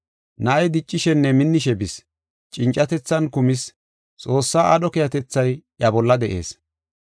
Na7ay diccishenne minnishe bis. Cincatethan kumis; Xoossaa aadho keehatethay iya bolla de7ees.